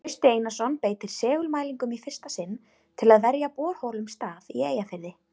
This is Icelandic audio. Trausti Einarsson beitir segulmælingum í fyrsta sinn til að velja borholum stað í Eyjafirði.